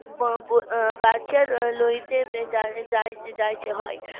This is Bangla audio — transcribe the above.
বাঁচার লইতে যাই~যাই~ যাইতে হয়